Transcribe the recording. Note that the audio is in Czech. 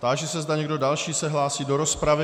Táži se, zda někdo další se hlásí do rozpravy.